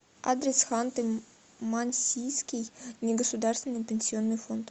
адрес ханты мансийский негосударственный пенсионный фонд